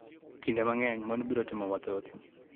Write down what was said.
Kinde mang�eny mon biro timo mathoth